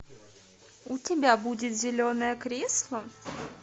у тебя будет зеленое кресло